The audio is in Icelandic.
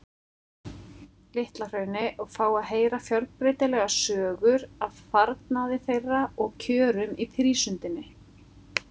Litla-Hrauni og fá að heyra fjölbreytilegar sögur af farnaði þeirra og kjörum í prísundinni.